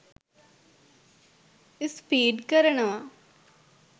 Speedy කරනවා.